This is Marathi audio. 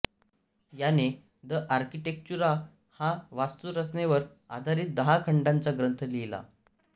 याने द आर्कीटेक्चुरा हा वास्तुरचनेवर आधारीत दहा खंडांचा ग्रंथ लिहिला